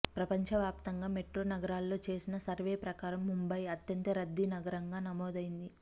ప్రపంచ వ్యాప్తంగా మెట్రో నగరాల్లో చేసిన సర్వే ప్రకారం ముంబయి అత్యంత రద్దీ నగరంగా నమోదైంది